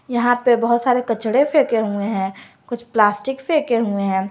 यहां पे बहोत सारे कचरे फेक हुए हैं कुछ प्लास्टिक फेक हुए हैं।